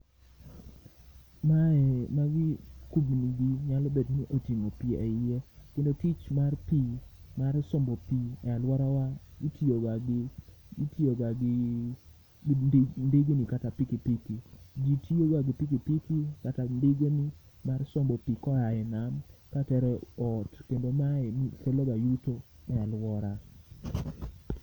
Mae magi kubni gi nyalo bedni oting'o pi e iye. Kendo tich mar pi mar sombo pi e alworawa itiyoga gi, itiyoga gi gi ndigni kata piki piki. Ji tiyoga gi piki piki kata ndigeni mar sombo pi koae nam katero e ot, kendo mae keloga yuto e alwora.